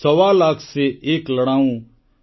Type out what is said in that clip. ସୱା ଲାଖ୍ ସେ ଏକ୍ ଲଡ଼ାଉଁ